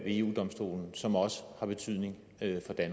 eu domstolen som også har betydning